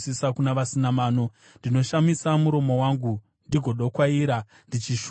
Ndinoshamisa muromo wangu ndigodokwaira, ndichishuva mirayiro yenyu.